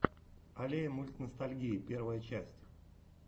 аллея мультностальгии первая часть